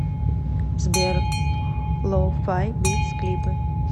сбер лоу фай битс клипы